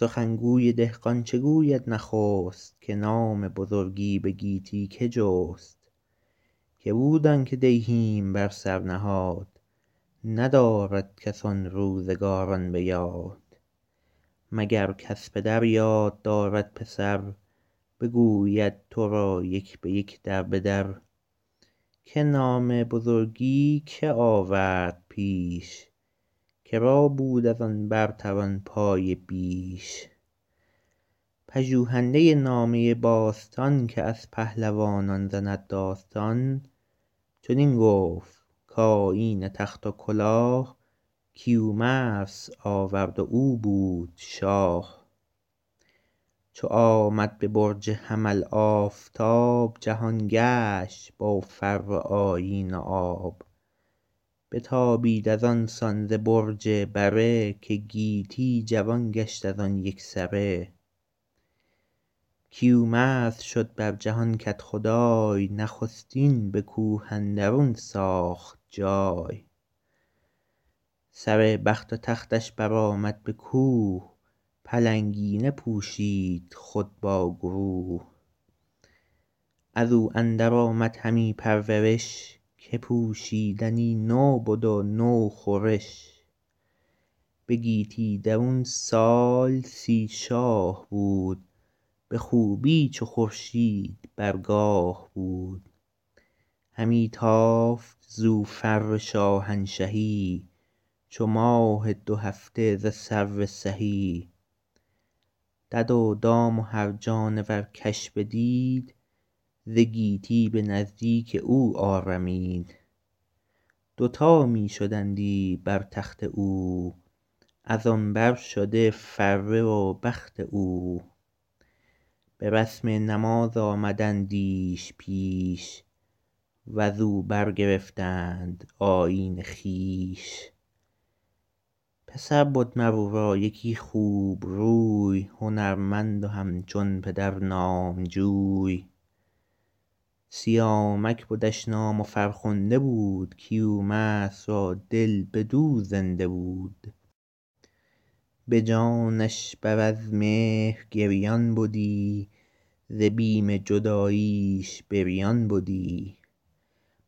سخن گوی دهقان چه گوید نخست که نام بزرگی به گیتی که جست که بود آن که دیهیم بر سر نهاد ندارد کس آن روزگاران به یاد مگر کز پدر یاد دارد پسر بگوید تو را یک به یک در به در که نام بزرگی که آورد پیش که را بود از آن برتران پایه بیش پژوهنده نامه باستان که از پهلوانان زند داستان چنین گفت کآیین تخت و کلاه کیومرث آورد و او بود شاه چو آمد به برج حمل آفتاب جهان گشت با فر و آیین و آب بتابید از آن سان ز برج بره که گیتی جوان گشت از آن یک سره کیومرث شد بر جهان کدخدای نخستین به کوه اندرون ساخت جای سر بخت و تختش بر آمد به کوه پلنگینه پوشید خود با گروه از او اندر آمد همی پرورش که پوشیدنی نو بد و نو خورش به گیتی درون سال سی شاه بود به خوبی چو خورشید بر گاه بود همی تافت زو فر شاهنشهی چو ماه دو هفته ز سرو سهی دد و دام و هر جانور کش بدید ز گیتی به نزدیک او آرمید دوتا می شدندی بر تخت او از آن بر شده فره و بخت او به رسم نماز آمدندیش پیش و ز او برگرفتند آیین خویش پسر بد مر او را یکی خوب روی هنرمند و همچون پدر نامجوی سیامک بدش نام و فرخنده بود کیومرث را دل بدو زنده بود به جانش بر از مهر گریان بدی ز بیم جداییش بریان بدی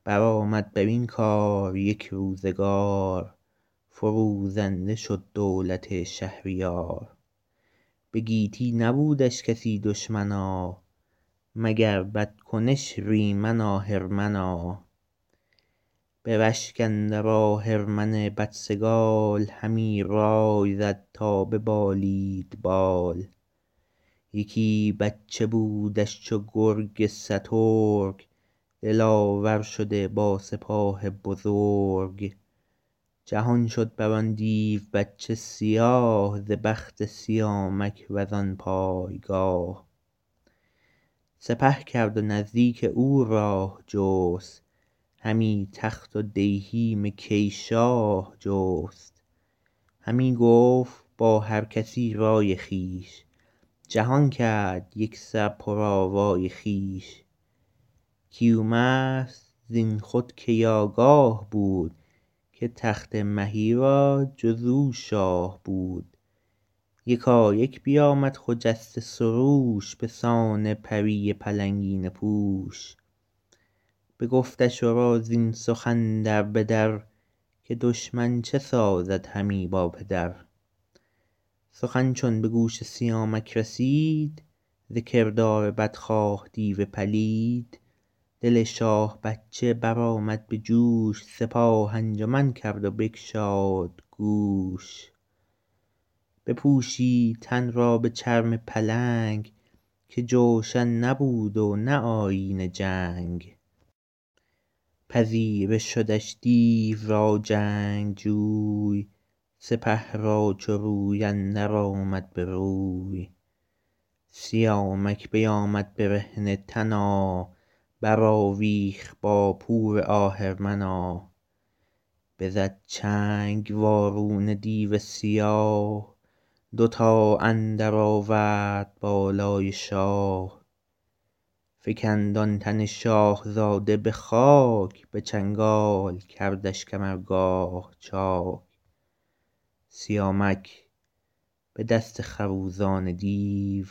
بر آمد بر این کار یک روزگار فروزنده شد دولت شهریار به گیتی نبودش کسی دشمنا مگر بدکنش ریمن آهرمنا به رشک اندر آهرمن بدسگال همی رای زد تا ببالید بال یکی بچه بودش چو گرگ سترگ دلاور شده با سپاه بزرگ جهان شد بر آن دیو بچه سیاه ز بخت سیامک و زان پایگاه سپه کرد و نزدیک او راه جست همی تخت و دیهیم کی شاه جست همی گفت با هر کسی رای خویش جهان کرد یک سر پر آوای خویش کیومرث زین خود کی آگاه بود که تخت مهی را جز او شاه بود یکایک بیامد خجسته سروش به سان پری پلنگینه پوش بگفتش ورا زین سخن در به در که دشمن چه سازد همی با پدر سخن چون به گوش سیامک رسید ز کردار بدخواه دیو پلید دل شاه بچه بر آمد به جوش سپاه انجمن کرد و بگشاد گوش بپوشید تن را به چرم پلنگ که جوشن نبود و نه آیین جنگ پذیره شدش دیو را جنگجوی سپه را چو روی اندر آمد به روی سیامک بیامد برهنه تنا بر آویخت با پور آهرمنا بزد چنگ وارونه دیو سیاه دوتا اندر آورد بالای شاه فکند آن تن شاهزاده به خاک به چنگال کردش کمرگاه چاک سیامک به دست خروزان دیو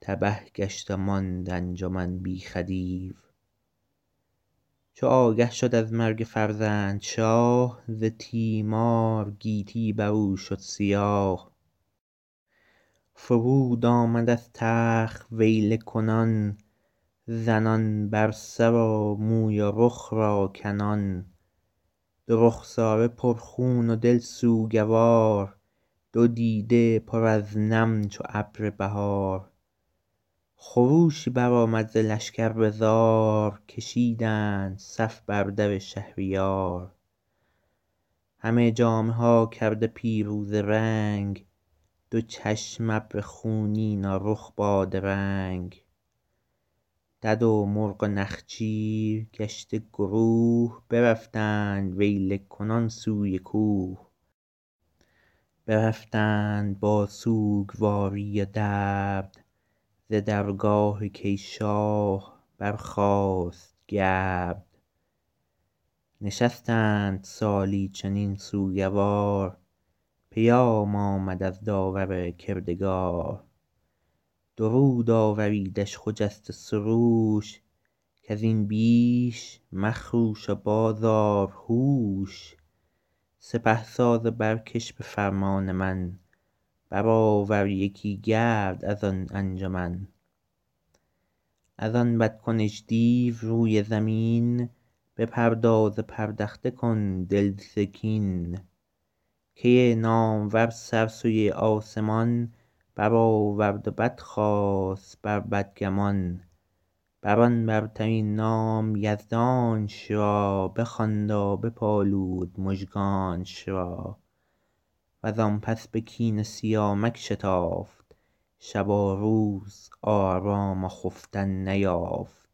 تبه گشت و ماند انجمن بی خدیو چو آگه شد از مرگ فرزند شاه ز تیمار گیتی بر او شد سیاه فرود آمد از تخت ویله کنان زنان بر سر و موی و رخ را کنان دو رخساره پر خون و دل سوگوار دو دیده پر از نم چو ابر بهار خروشی بر آمد ز لشکر به زار کشیدند صف بر در شهریار همه جامه ها کرده پیروزه رنگ دو چشم ابر خونین و رخ بادرنگ دد و مرغ و نخچیر گشته گروه برفتند ویله کنان سوی کوه برفتند با سوگواری و درد ز درگاه کی شاه برخاست گرد نشستند سالی چنین سوگوار پیام آمد از داور کردگار درود آوریدش خجسته سروش کز این بیش مخروش و باز آر هوش سپه ساز و برکش به فرمان من بر آور یکی گرد از آن انجمن از آن بد کنش دیو روی زمین بپرداز و پردخته کن دل ز کین کی نامور سر سوی آسمان بر آورد و بدخواست بر بدگمان بر آن برترین نام یزدانش را بخواند و بپالود مژگانش را و زان پس به کین سیامک شتافت شب و روز آرام و خفتن نیافت